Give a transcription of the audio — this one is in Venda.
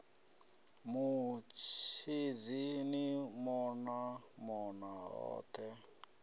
mutshidzi ni mona mona hothe